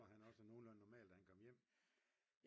Var han også nogenlunde normal da han kom hjem?